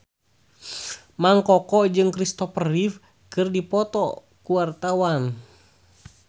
Mang Koko jeung Kristopher Reeve keur dipoto ku wartawan